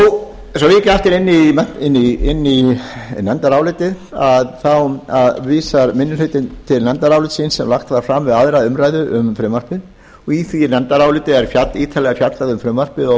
og skorinort svo ég víki aftur í nefndarálitið þá vísar minni hlutinn til nefndarálitsins sem varpar fram við aðra umræðu um frumvarpið í því nefndaráliti er ítarlega fjallað um frumvarpið og